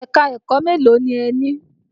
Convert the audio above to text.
Ẹ̀ka-ẹ̀kọ́ mélòó ni ẹ ní?